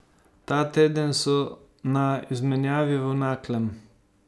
Ta teden so na izmenjavi v Naklem.